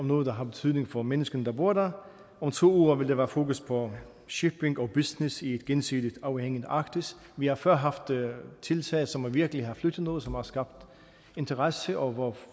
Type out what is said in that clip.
noget der har betydning for menneskerne der bor der om to uger vil der være fokus på shipping og business i et gensidigt afhængigt arktis vi har før haft tiltag som virkelig har flyttet noget som har skabt interesse og hvor